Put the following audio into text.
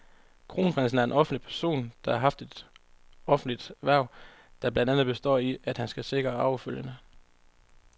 Kronprinsen er en offentlig person, der har et offentligt hverv, der blandt andet består i, at han skal sikre arvefølgen.